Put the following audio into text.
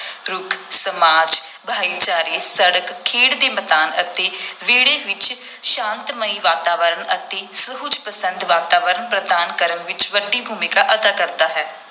ਰੁੱਖ ਸਮਾਜ, ਭਾਈਚਾਰੇ, ਸੜਕ, ਖੇਡ ਦੇ ਮੈਦਾਨ ਅਤੇ ਵਿਹੜੇ ਵਿਚ ਸ਼ਾਂਤਮਈ ਵਾਤਾਵਰਣ ਅਤੇ ਸੁਹਜ ਪਸੰਦ ਵਾਤਾਵਰਣ ਪ੍ਰਦਾਨ ਕਰਨ ਵਿਚ ਵੱਡੀ ਭੂਮਿਕਾ ਅਦਾ ਕਰਦਾ ਹੈ।